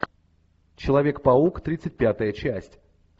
человек паук тридцать пятая часть